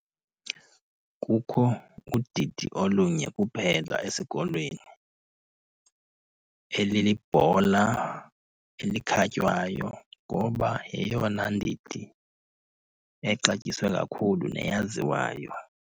Kukho udidi olunye kuphela esikolweni, elelebhola elikhatywayo ngoba yeyona ndidi exatyiswe kakhulu neyaziwayo.